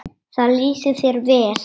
Það lýsir þér vel.